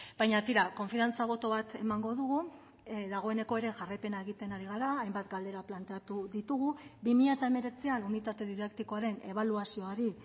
baina tira konfiantza boto bat emango dugu dagoeneko ere jarraipena egiten ari gara hainbat galdera planteatu ditugu bi mila hemeretzian unitate didaktikoaren ebaluazioari